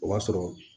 O b'a sɔrɔ